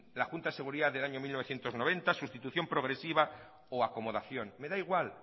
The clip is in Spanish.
la junta de seguridad del año mil novecientos noventa sustitución progresiva o acomodación me da igual